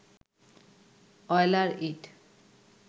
Euler ইঁট